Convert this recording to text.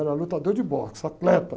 Eu era lutador de boxe, atleta.